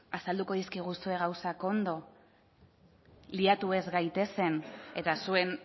azalduko dizkiguzue gauzak ondo liatu ez gaitezen eta zuen